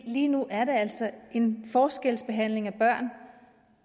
lige nu er der altså en forskelsbehandling af børn